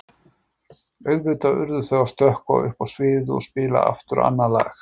Auðvitað urðu þau að stökkva upp á sviðið og spila aftur annað lagið.